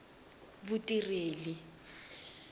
vutireli